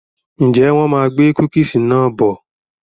Ǹjẹ́ wọn má gbé "cookies" náà bọ̀?